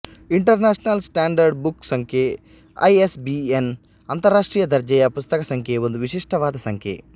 international standard book ಸಂಖ್ಯೆ I S B N ಅಂತರಾಷ್ಟ್ರೀಯ ದರ್ಜೆಯ ಪುಸ್ತಕ ಸಂಖ್ಯೆ ಒಂದು ವಿಶಿಷ್ಟವಾದ ಸಂಖ್ಯೆ